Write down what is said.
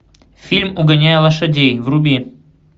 фильм угоняя лошадей вруби